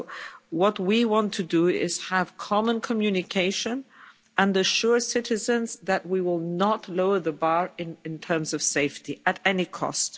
So, what we want to do is have common communication and assure citizens that we will not lower the bar in terms of safety at any cost.